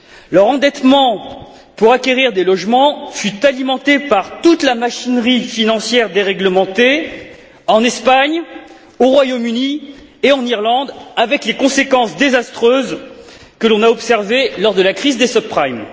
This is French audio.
Leur endettement pour acquérir des logements fut alimenté par toute la machinerie financière déréglementée, en Espagne, au Royaume Uni et en Irlande, avec les conséquences désastreuses que l'on a observées lors de la crise des subprimes